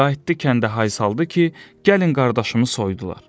Qayıtdı kəndə hay saldı ki, gəlin qardaşımı soydular.